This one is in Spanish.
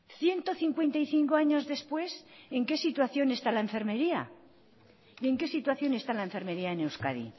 ciento cincuenta y cinco años después en qué situación está la enfermería y en que situación está la enfermería en euskadi